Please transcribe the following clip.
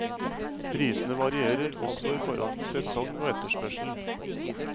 Prisene varierer også i forhold til sesong og etterspørsel.